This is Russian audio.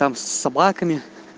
там с собаками